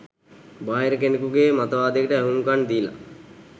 බාහිර කෙනෙකුගේ මතවාදයකට ඇහුම්කන් දීලා